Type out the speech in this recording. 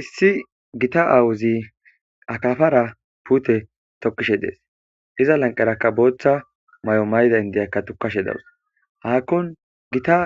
issi gita awuzi akafara pute tokkishe dees iza lanqeraka booththa may7o mayda indiyakka tukashe dawus haakkon gita